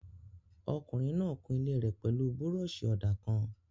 Ọkùnrin náà kun ilé rẹ̀ pẹ̀lú búrọ̀ṣì-ọ̀dà kan